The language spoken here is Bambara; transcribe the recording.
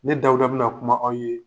Ne Dawuda bena kuma aw ye